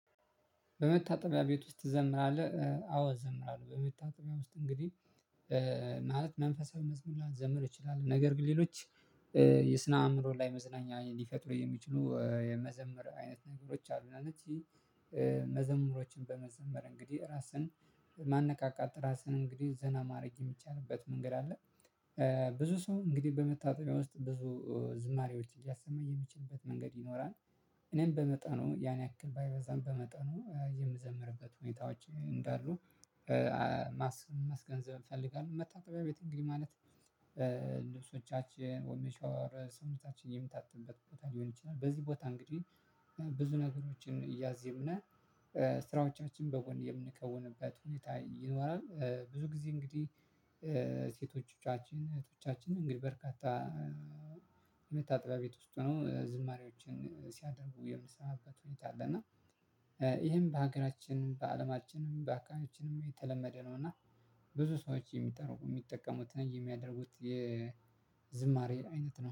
በመታጠቢያ ቤት ውስጥ ትዘምራለህ? አዎ እዘምራለሁ በመታጠቢያ ውስጥ እንግዲህ ማለት መንፈሳዊ መዝሙር ላይ መዘምር እችላለሁ ነገር ግን ሌሎች የስነ አእምሮ ላይ መዝለኛ ሊፈጥሩ የሚችሉ የመዘምር አይነት ነገሮች አሉና እነዚህ መዘምሮችን በመዘምር እንግዲህ ራስን ማንቃት ራስህን እንግዲህ ዘና ማድረግ የሚቻልበት መንገድ አለ። ብዙ ሰው እንግዲህ በመታጠቢያ ውስጥ ብዙ ዝማሬዎች እያሰማ የሚችልበት መንገድ ይኖራል። እኔም በመጠኑ ያን ያክል ባይበዛም በመጠኑ የምዘምርበት ሁኔታዎች እንዳሉ ማስገንዘብ እፈልጋለሁ። መታጠቢያ ቤት እንግዲህ ማለት ልብሶቻችን ሰውነታችን የምታጠብበት ቦታ ሊሆን ይችላል። በዚህ ቦታ እንግዲህ ብዙ ነገሮችን እያዜሙ ነው ስራዎቻችን በወንድ የምንከውንበት ሁኔታ ይኖራል። ብዙ ጊዜ እንግዲህ ሴቶቻችን እህቶቻችን እንግዲህ በርካታ የመታ ጥበብ ቤት ውስጥ ነው ዝማሬዎችን ሲያደርጉ የምንሰማበት ሁኔታ አለ። እና ይሄን በሀገራችን በአለማችንም በሃገራችንም የተለመደ ነው። እና ብዙ ሰዎች የሚጠሩ የሚጠቀሙትን የሚያደርጉት የዝማሬ አይነት ነው